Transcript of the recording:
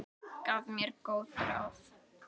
Gaf mér góð ráð.